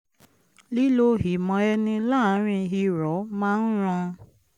lílo ìmọ̀ ẹni láàárín irọ̀ máa ń ran